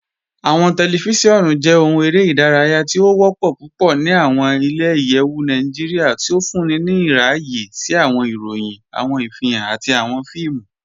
Awọn tẹlifíṣíọnu jẹ̀ òhùn èrè idáràyà tì o wọ́pọ̀ púpọ̀ ní awọn ilẹ̀-ìyẹ̀wù Nàìjíríà, tí ó fúnńí ní ìràyẹ̀ sí awọn ìròyìn, awọn ìfihan, àti awọn fíìmù.